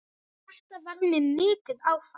Þetta varð mér mikið áfall.